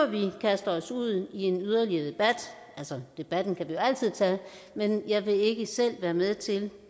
vi kaster os ud i en yderligere debat altså debatten kan vi jo altid tage men jeg vil ikke selv være med til